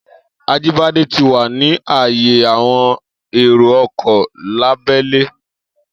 Ajíbádé ti wà ní ààyè àwọn èrò ọkọ̀ lábẹ́lé.